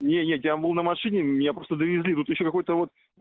нет нет я был на машине меня просто довезли тут ещё какой-то вот